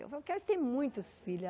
Eu falava, quero ter muitos filhos.